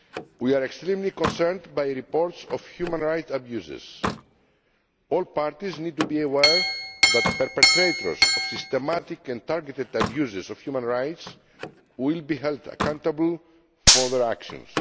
We are extremely concerned by reports of human rights abuses. All parties need to be aware that perpetrators of systematic and targeted abuses of human rights will be held accountable for their actions.